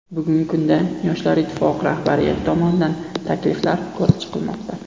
Bugungi kunda Yoshlar ittifoqi rahbariyati tomonidan takliflar ko‘rib chiqilmoqda.